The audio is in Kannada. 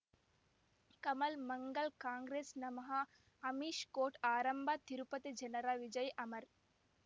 ಕಮಲ್ ಮಂಗಳ್ ಕಾಂಗ್ರೆಸ್ ನಮಃ ಅಮಿಷ್ ಕೋರ್ಟ್ ಆರಂಭ ತಿರುಪತಿ ಜನರ ವಿಜಯ ಅಮರ್